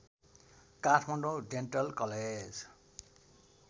Kathmandu dental college